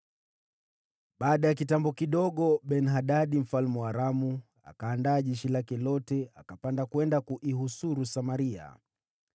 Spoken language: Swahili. Baada ya kitambo kidogo, Ben-Hadadi mfalme wa Aramu akaandaa jeshi lake lote akapanda kwenda kuihusuru Samaria.